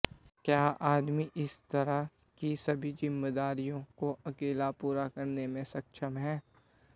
क्या आदमी इस तरह की सभी जिम्मेदारियों को अकेला पूरा करने में सक्षम है